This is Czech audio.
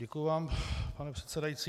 Děkuji vám, pane předsedající.